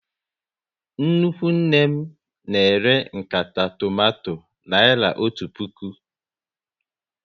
Nnukwu nne m na ere nkata tomato naira otu puku